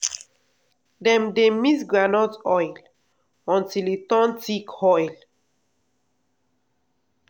oil palm tree dey tall well well and e get wide frond.